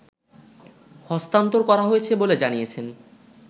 হস্তান্তর করা হয়েছে বলে জানিয়েছেন